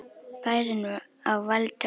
Bærinn á valdi okkar!